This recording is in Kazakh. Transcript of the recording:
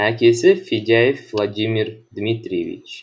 әкесі федяев владимир дмитриевич